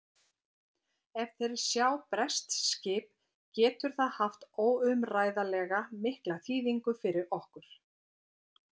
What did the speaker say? Ef þeir sjá breskt skip getur það haft óumræðilega mikla þýðingu fyrir okkur.